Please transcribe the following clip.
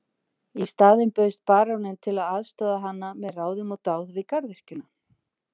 Í staðinn bauðst baróninn til að aðstoða hana með ráðum og dáð við garðyrkjuna.